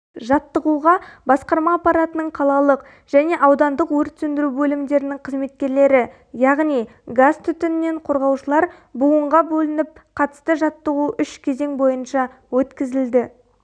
жаттығуға басқарма аппаратының қалалық және аудандық өрт сөндіру бөлімдерінің қызметкерлері яғни газтүтіннен қорғаушылар буынға бөлініп қатысты жаттығу үш кезең бойынша өткізілді